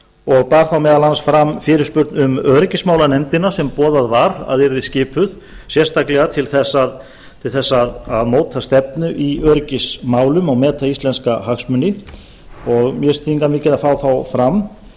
og bar þá meðal annars fram fyrirspurn um öryggismálanefndina sem boðað var að yrði skipuð sérstaklega til að móta stefnu í öryggismálum og meta íslenska hagsmuni og mér finnst þýðingarmikið að fá það fram